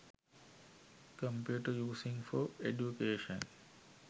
computer using for education